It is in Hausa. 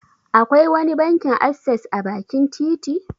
Akwai wani bankin asses a bakin titi?